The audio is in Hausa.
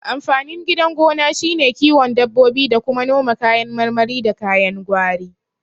Amfanin gidan gona shine kiwon dabbobi da kuma noma kayan marmari da kayan gwari